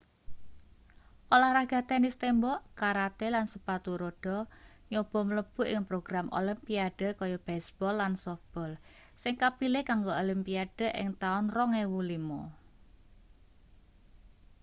olahraga tenis tembok karate lan sepatu rodha nyoba mlebu ing program olimpiade kaya baseball lan softball sing kapilih kanggo olimpiade ing taun 2005